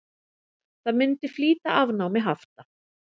Það myndi flýta afnámi hafta.